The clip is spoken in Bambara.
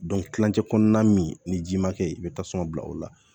kilancɛ kɔnɔna min ni ji ma kɛ ye i be tasuma bila o la